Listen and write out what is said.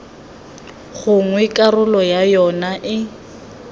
gongwe karolo ya yona e